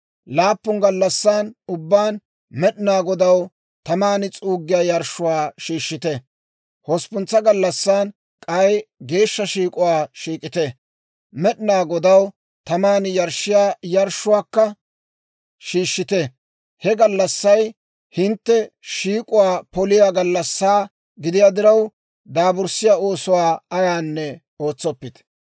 Laappun gallassan ubbaan Med'inaa Godaw taman s'uuggiyaa yarshshuwaa shiishshite; hosppuntsa gallassan k'ay geeshsha shiik'uwaa shiik'ite; Med'inaa Godaw taman yarshshiyaa yarshshuwaakka shiishshite. He gallassay hintte shiik'uwaa poliyaa gallassaa gidiyaa diraw, daaburssiyaa oosuwaa ayaanne ootsoppite.